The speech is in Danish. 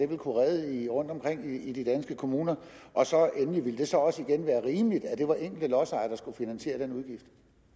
ville kunne redde rundtomkring i de danske kommuner og endelig ville det så også være rimeligt at det var enkelte lodsejere der skulle finansiere den udgift